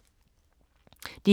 DR K